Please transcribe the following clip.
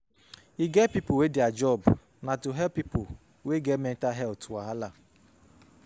E get pipo wey their job na to help pipo wey get mental health wahala.